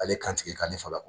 Ale kan tigɛ k''a ni fa